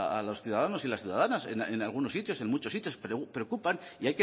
a los ciudadanos y a las ciudadanas en algunos sitios en muchos sitios pero preocupan y